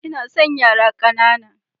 Ina son yara ƙanana.